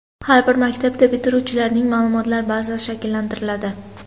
Har bir maktabda bitiruvchilarning ma’lumotlar bazasi shakllantiriladi.